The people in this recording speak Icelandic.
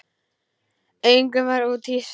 Engum var úthýst.